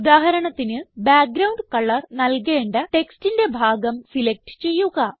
ഉദാഹരണത്തിന് background colour നൽകേണ്ട ടെക്സ്റ്റിന്റെ ഭാഗം സിലക്റ്റ് ചെയ്യുക